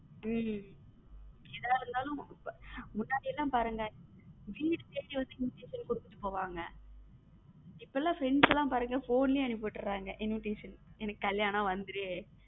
உம் எதா இருந்தாலும் முன்னாடி எல்லாம் பாருங்க வீடு தேடி வந்து invitation கொடுத்துட்டு போவாங்க இப்ப எல்லாம் friends லம் பாருங்க phone லே அனுப்பி விட்ட்ரங்க invitation எனக்கு கல்யாணம் வந்துரு.